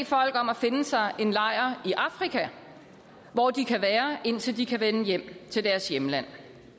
folk om at finde sig en lejr i afrika hvor de kan være indtil de kan vende hjem til deres hjemland